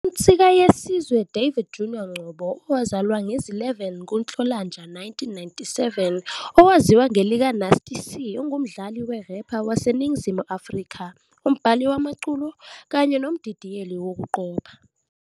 UNsikayesizwe David Junior Ngcobo, owazalwa zi-11 kuNhlolanja 1997, owaziwa ngelikaNasty C, ungumdlali we-rapper waseNingizimu Afrika, umbhali wamaculo, kanye nomdidiyeli wokuqopha.